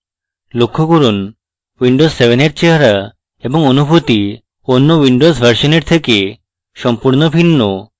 লক্ষ্য করুন windows 7 এর চেহারা এবং অনুভূতি অন্য windows ভার্সনের থেকে সম্পূর্ণ ভিন্ন